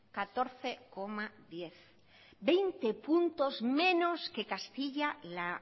catorce coma diez por ciento veinte puntos menos que castilla la